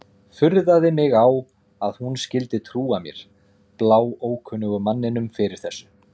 Furðaði mig á að hún skyldi trúa mér, bláókunnugum manninum, fyrir þessu.